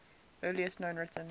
earliest known written